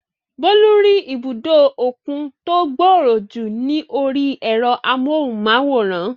Bólú rí ibùdó òkun tó gbòòrò jù ní orí ẹ̀rọ amóhùnmáwòrán